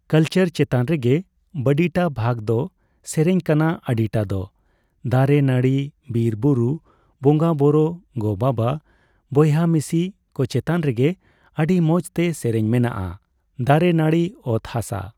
Culture ᱪᱮᱛᱟᱱ ᱨᱮᱜᱮ ᱵᱟᱰᱤᱴᱟ ᱵᱷᱟᱜ ᱫᱚ ᱥᱮᱨᱮᱧ ᱠᱟᱱᱟ ᱟᱰᱤᱴᱟ ᱫᱚ ᱫᱟᱨᱮᱼᱱᱟᱹᱲᱤ, ᱵᱤᱨᱼᱵᱩᱨᱩ, ᱵᱚᱸᱜᱟᱼᱵᱳᱨᱳ, ᱜᱚᱼᱵᱟᱵᱟ, ᱵᱚᱭᱦᱟᱼᱢᱤᱥᱤ ᱠᱚ ᱪᱮᱛᱟᱱ ᱨᱮᱜᱮ ᱾ ᱟᱹᱰᱤ ᱢᱚᱡᱽᱛᱮ ᱥᱮᱨᱮᱧ ᱢᱮᱱᱟᱜᱼᱟ ᱫᱟᱨᱮᱼᱱᱟᱹᱲᱤ ᱚᱛ ᱦᱟᱥᱟ ᱾